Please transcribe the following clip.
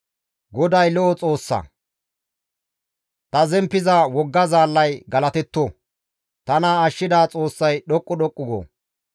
GODAY de7o Xoossa! Ta zemppiza wogga zaallay galatetto! Tana ashshida Xoossay dhoqqu dhoqqu go!